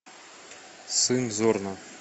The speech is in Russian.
сын зорна